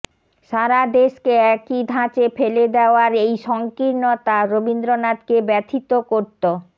সারা দেশকে একই ধাঁচে ফেলে দেওয়ার এই সংকীর্ণতা রবীন্দ্রনাথকে ব্যথিত করত